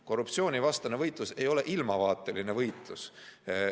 Korruptsioonivastane võitlus ei ole ilmavaateline võitlus.